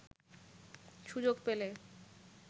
সুযোগ পেলে